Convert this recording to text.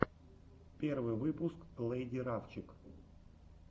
первый выпуск лэйди рафчик